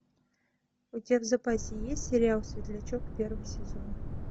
у тебя в запасе есть сериал светлячок первый сезон